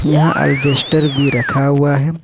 यहां हार्वेस्टर भी रखा हुआ है।